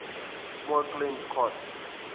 small claims court